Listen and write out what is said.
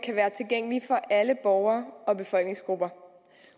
kan være tilgængelige for alle borgere og befolkningsgrupper